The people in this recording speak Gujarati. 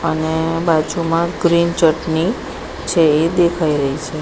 અને બાજુમાં ગ્રીન ચટની છે એ દેખાય રહી છે.